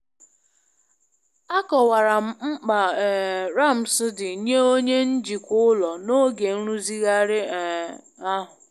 Akọwara m mkpa um ramps dị nye onye njikwa ụlọ n'oge nrụzigharị um ahụ.